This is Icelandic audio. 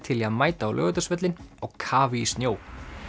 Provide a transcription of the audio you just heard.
til í að mæta á Laugardalsvöllinn á kafi í snjó